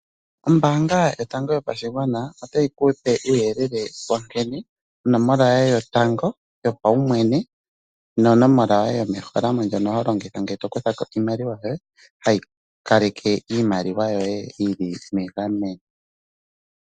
Ombaanga Yotango Yopashigwana otayi ku pe uuyelele wa nkene onomola yoye yotango yopaumwene nonomola yoye yomeholamo ndjono ho longitha ngele to kutha ko iimaliwa yoye hayi kaleke iimaliwa yoye yi li megameno.